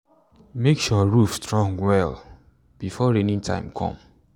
make sure roof strong well before rainy time come.